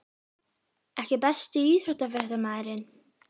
EKKI besti íþróttafréttamaðurinn?